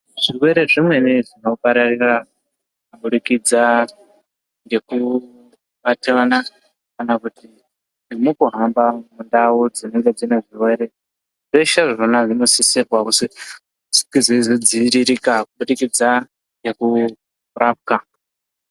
Zvirwere zvimweni zvinopararira kubudikidza ngekubata vana kana kuti nemukuhamba ndau dzinenge dzine zvirwere. Zveshe zvona zvinosisa kuzi zvinge zveizodziviririka kubudikidza nekurapwa.